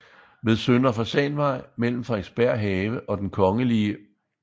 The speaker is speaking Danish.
Ved Søndre Fasanvej mellem Frederiksberg Have og Den kgl